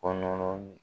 Kɔnɔ